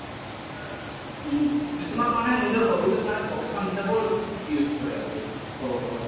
উম, কিছুমান মানে নিজৰ hobby টোক মানে profession হিচাবেও use কৰে আৰু কব গলে